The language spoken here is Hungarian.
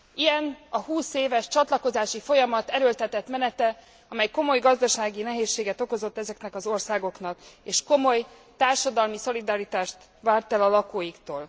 Ilyen a húszéves csatlakozási folyamat erőltetett menete, amely komoly gazdasági nehézséget okozott ezeknek az országoknak, és komoly társadalmi szolidaritást várt el a lakóiktól.